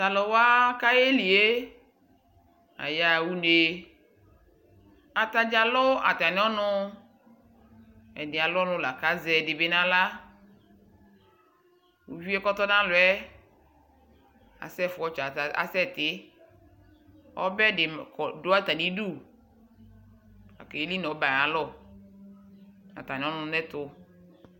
Taluwa kayelie, ayaɣa une Ataɖza alʋ atami'ɔnuƐdi alʋ ɔnu la kʋ azɛ ɛdibi naɣlaUvie kɔtɔnalɔɛ, asɛfu ɔtsɔ, asɛtiƆbɛ di dʋ atamiduLakayeni nʋ ɔbɛɛ ayalɔ, natami'ɔnu nɛtu